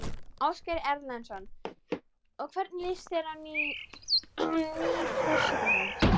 Ásgeir Erlendsson: Og hvernig líst þér á ný forsetahjón?